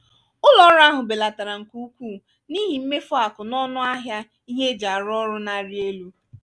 uru ụlọ ọrụ ahụ belatara nke ukwuu n'ihi mmefu akụ na ọnụ ahịa ihe eji arụ ọrụ na-arị elu.